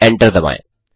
enter दबाएँ